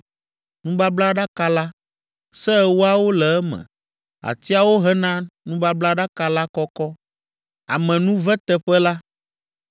nubablaɖaka la, Se Ewoawo le eme; atiawo hena nubablaɖaka la kɔkɔ, amenuveteƒe la;